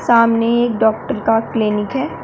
सामने एक डॉक्टर का क्लीनिक है।